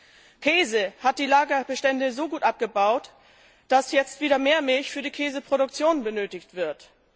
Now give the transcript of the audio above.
Bei Käse wurden die Lagerbestände so gut abgebaut, dass jetzt wieder mehr Milch für die Käseproduktion benötigt wird.